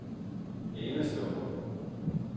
enestående